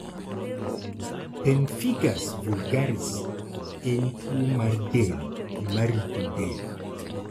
Pemphigus vulgaris en tuo mar del ma rito del